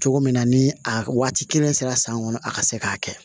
Cogo min na ni a waati kelen sera san kɔnɔ a ka se k'a kɛ